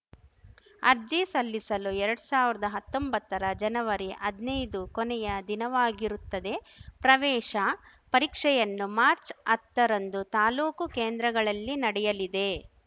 ಅರ್ಜಿ ಸಲ್ಲಿಸಲು ಎರಡ್ ಸಾವಿರ್ದಾ ಹತ್ತೊಂಬತ್ತರ ಜನವರಿ ಹದ್ನೈದು ಕೊನೆಯ ದಿನವಾಗಿರುತ್ತದೆ ಪ್ರವೇಶ ಪರೀಕ್ಷೆಯನ್ನು ಮಾರ್ಚ್ಅತ್ತ ರಂದು ತಾಲ್ಲೂಕು ಕೇಂದ್ರಗಳಲ್ಲಿ ನಡೆಯಲಿದೆ